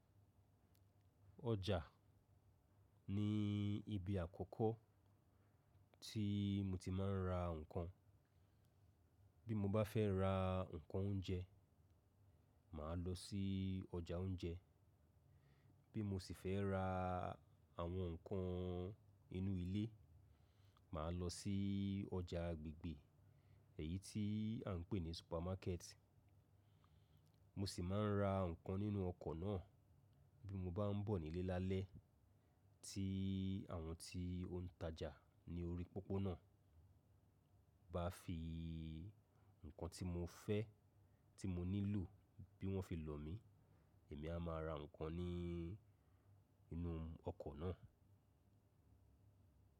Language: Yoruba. Ọjà ní ibi àkọ́kọ́ tí mo ti máa ń ra ǹkan. Bí mo bá fẹ́ ra ǹkan oúnjẹ, mà á lọ sí ọjà oúnjẹ. Bí mo sì fẹ́ ra àwọn ǹkan inú ilé, mà á lọ sí ọjà agbègbè, èyí tí à ń pè ní supermarket. Mo sì máa ń ra ǹkan nínú ọkọ̀ náà bí mo bá ń bọ̀ nílé lálẹ́ tí àwọn tí òǹtajà ní orí pópónà bá fi ǹkan tí mo fẹ́, tí mo nílò bí wọ́n fi lọ mí, èmi a máa ra ǹkan ní inú ọkọ̀ náà.